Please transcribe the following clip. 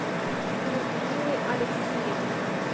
людмилы алексеевны